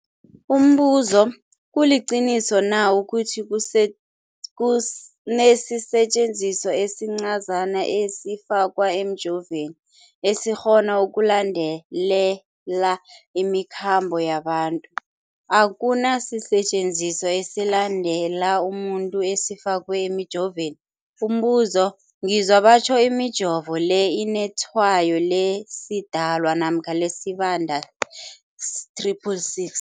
Umbuzo, kuliqiniso na ukuthi kunesisetjenziswa esincazana esifakwa emijovweni, esikghona ukulandelela imikhambo yabantu? Akuna sisetjenziswa esilandelela umuntu esifakwe emijoveni. Umbuzo, ngizwa batjho imijovo le inetshayo lesiDalwa namkha lesiBandana 666.